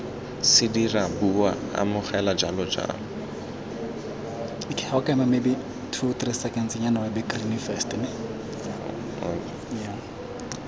se dira bua amogela jalojalo